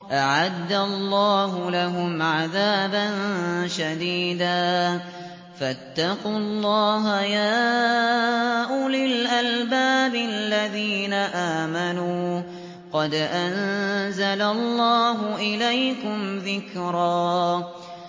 أَعَدَّ اللَّهُ لَهُمْ عَذَابًا شَدِيدًا ۖ فَاتَّقُوا اللَّهَ يَا أُولِي الْأَلْبَابِ الَّذِينَ آمَنُوا ۚ قَدْ أَنزَلَ اللَّهُ إِلَيْكُمْ ذِكْرًا